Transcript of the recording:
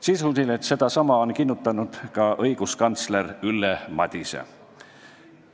Sisuliselt sedasama on kinnitanud ka õiguskantsler Ülle Madise.